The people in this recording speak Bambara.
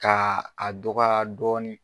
Ka a dɔgɔya dɔɔnin.